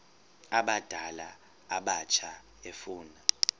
abadala abatsha efuna